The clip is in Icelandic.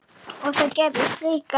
Og það gerðist líka.